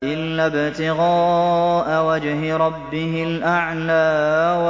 إِلَّا ابْتِغَاءَ وَجْهِ رَبِّهِ الْأَعْلَىٰ